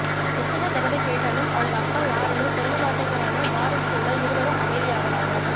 எத்தனை தடவை கேட்டாலும் அவங்க அப்பா யாருன்னு சொல்ல மாட்டேங்கறாங்கன்னு பாரதி சொல்ல இருவரும் அமைதியாகறாங்க